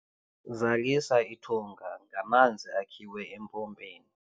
zalisa ithunga ngamanzi akhiwe empompeni